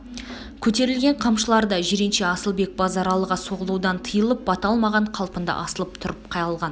көтерілген қамшылар да жиренше асылбек базаралыға соғылудан тыйылып бата алмаған қалпында асылып тұрып қалған